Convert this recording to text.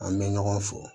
An bɛ ɲɔgɔn fo